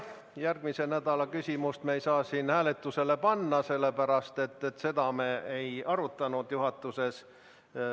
Järgmise nädala küsimust me ei saa siin hääletusele panna, sellepärast et seda me ei arutanud juhatuses.